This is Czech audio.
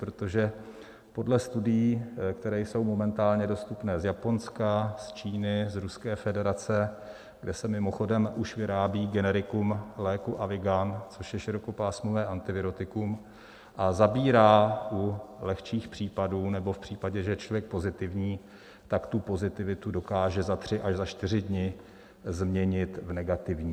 Protože podle studií, které jsou momentálně dostupné z Japonska, z Číny, z Ruské federace, kde se mimochodem už vyrábí generikum léku Avigan, což je širokopásmové antivirotikum, a zabírá u lehčích případů nebo v případě, že je člověk pozitivní, tak tu pozitivitu dokáže za tři až za čtyři dny změnit v negativní.